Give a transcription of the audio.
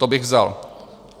To bych vzal.